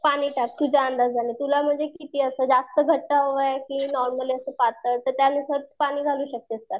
पाणी टाक तुझ्या अंदाजाने तुला म्हणजे किती आस जास्त घट्ट हवये कि नॉर्मली असं पातळ तर त्यानुसार तू पाणी घालू शकतेस त्याला.